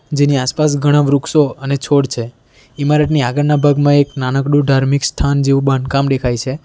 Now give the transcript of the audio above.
જેની આસપાસ ઘણા વૃક્ષો અને છોડ છે ઇમારતની આગળના ભાગમાં એક નાનકડું ધાર્મિક સ્થાન જેવું બાંધકામ દેખાય છે.